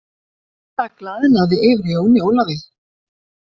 Það glaðnaði yfir Jóni Ólafi.